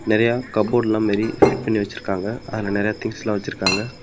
நெறைய கபோர்டு எல்லா மாரி ஃபிட் பண்ணி வச்சிருக்காங்க அதுல நெறைய திங்ஸ்ல வெச்சுருக்காங்க.